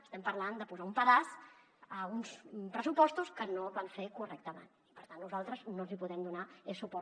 estem parlant de posar un pedaç a uns pressupostos que no van fer correctament i per tant nosaltres no els hi podem donar suport